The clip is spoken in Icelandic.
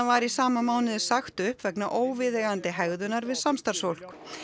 var í sama mánuði sagt upp vegna óviðeigandi hegðunar við samstarfsfólk